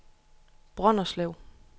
Brønderslev